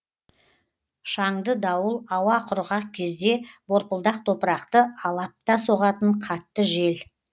шаңды дауыл ауа құрғақ кезде борпылдақ топырақты алапта соғатын қатты жел